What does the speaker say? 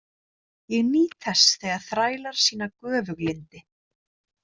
Ég nýt þess þegar þrælar sýna göfuglyndi.